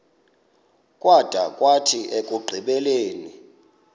kwada kwathi ekugqibeleni